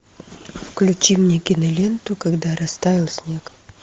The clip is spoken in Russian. включи мне киноленту когда растаял снег